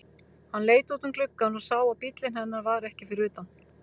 Hann leit út um gluggann og sá að bíllinn hennar var ekki fyrir utan.